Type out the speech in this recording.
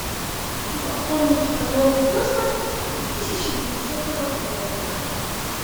хочу оформить полет в космос три тысячи двухсотого года